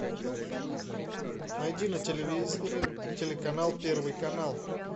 найди на телевизоре телеканал первый канал